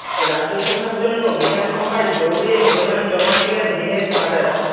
রাজ্যসভার জন্য বিধানসভায় দৌড়ে মনোনয়ন জমা দিলেন দীনেশ বাজাজ